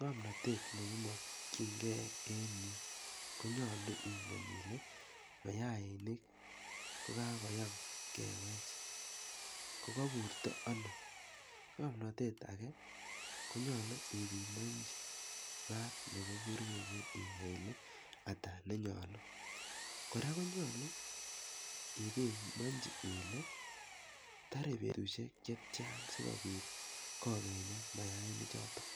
Ng'mnatet ne imakchigei en yu, konyalu ingen ile mayainik kokakoyam kewech kokapurto ano. Ng'amnatet age konyalu ipimanchi maat nepo purkeyet inai ile ata ne nyalu. Kora konyalu ipimanchi ile tare petushek chetian adikopit kokenyak mayainichotok.